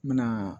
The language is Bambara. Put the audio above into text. N bɛna